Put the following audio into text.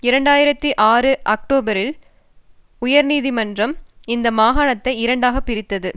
இரண்டு ஆயிரத்தி ஆறு அக்டோபரில் உயர் நீதிமன்றம் இந்த மாகாணத்தை இரண்டாக பிரித்தது